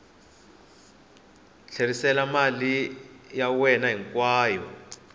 tlherisela mali ya wena hinkwayo